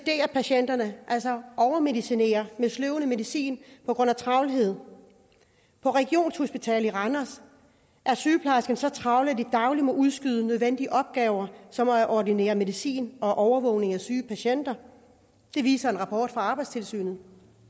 patienterne altså overmedicinere med sløvende medicin på grund af travlhed på regionshospitalet randers har sygeplejerskerne så travlt at de dagligt må udskyde nødvendige opgaver som at ordinere medicin og overvåge syge patienter det viser en rapport fra arbejdstilsynet